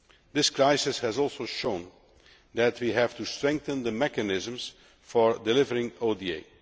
This crisis has also shown that we have to strengthen the mechanisms for delivering ODA.